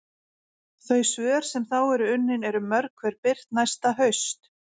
Þau svör sem þá eru unnin eru mörg hver birt næsta haust.